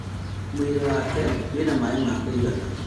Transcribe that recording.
Mwĩirĩ wake wĩna maĩ ma kũigana?